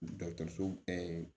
Dɔkitɛriso